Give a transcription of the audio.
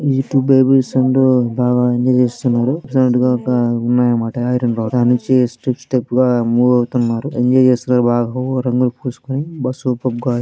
ఈ two baby ఉండ్రు బాగా ఎంజాయ్ చేస్తున్నారు. టిప్స్ టిప్స్ సౌండ్ ఉన్నాయన్నమాట. ఐరన్ రాడ్స్ పైనుంచి స్టెప్స్ స్టెప్స్ గా మూవ్ అవుతున్నారు.